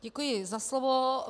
Děkuji za slovo.